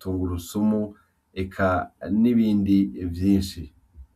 tungurusumu eka n’ibindi vyinshi.